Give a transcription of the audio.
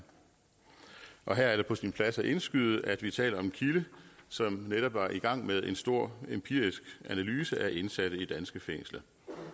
og her er det på sin plads at indskyde at vi taler om en kilde som netop var i gang med en stor empirisk analyse af indsatte i danske fængsler